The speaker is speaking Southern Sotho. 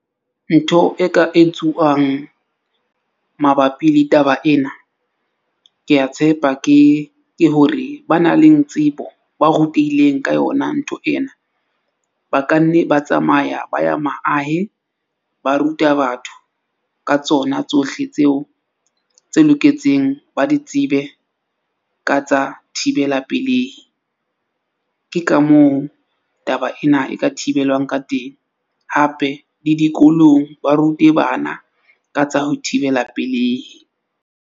Ntho e ka etsuwang mabapi le taba ena. Ke a tshepa ke hore ba nang le tsebo, ba rutehileng ka yona ntho ena, ba ka nne ba tsamaya ba ya maahe. Ba ruta batho ka tsona tsohle tseo tse loketseng, ba di tsebe ka tsa thibela pelehi. Ke ka moo taba ena e ka thibelwang ka teng hape le dikolong, ba rute bana ka tsa ho thibela pelehi.